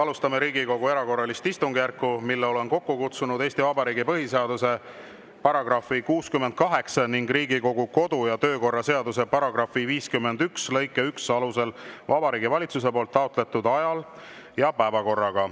Alustame Riigikogu erakorralist istungjärku, mille olen kokku kutsunud Eesti Vabariigi põhiseaduse § 68 ning Riigikogu kodu‑ ja töökorra seaduse § 51 lõike 1 alusel Vabariigi Valitsuse taotletud ajal ja päevakorraga.